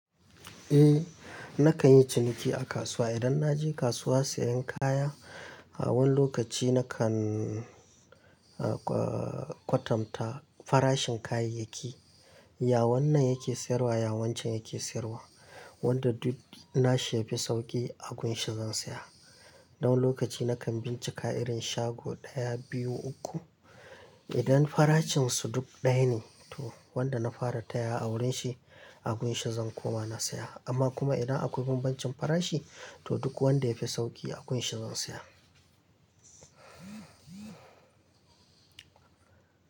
Eh, na kan yi ciniki a kasuwa. Idan na je kasuwa sayen kaya, a wani lokaci na kan, ah, kwatamta farashin kayayyaki. Ya wannan yake sayarwa, ya wancen yake sayarwa. Wanda duk na shi yafi sauƙi, a gunshi zan saya. Don wani lokaci na kan bincika irin shago ɗaya, biyu, uku. Idan farashin su duk ɗaya ne, to wanda na fara tayawa a wurin shi, a gunshi zan koma na saya. Amma kuma idan akwai bambancin farashi, to duk wanda ya fi sauki a gunshi zan saya.